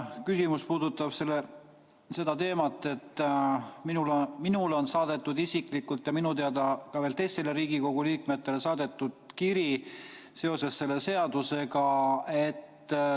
Küsimus puudutab seda, et minule isiklikult ja minu teada ka teistele Riigikogu liikmetele on saadetud kiri seoses selle seadusega.